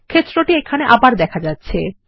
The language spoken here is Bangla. ক্ষেত্রটি এখানে আবার দেখা যাচ্ছে